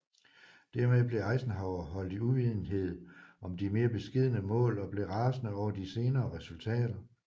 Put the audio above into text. Dermed blev Eisenhower holdt i uvidenhed om de mere beskedne mål og blev rasende over de senere resultater